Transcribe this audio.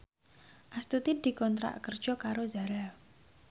Astuti dikontrak kerja karo Zara